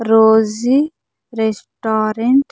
Rosie restaurant .